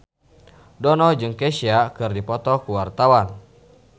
Dono jeung Kesha keur dipoto ku wartawan